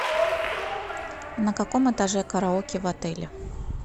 на каком этаже караоке в отеле